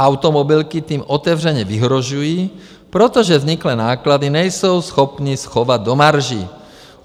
Automobilky tím otevřeně vyhrožují, protože vzniklé náklady nejsou schopny schovat do marží.